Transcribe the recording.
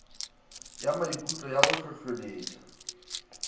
ya maikutlo ya go hlohleletpa